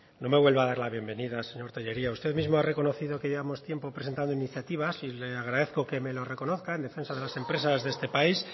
no me vuelva a dar la bienvenida señor tellería usted mismo ha reconocido que llevamos tiempo presentando iniciativa y le agradezco que me lo reconozca en defensa de las empresas de este país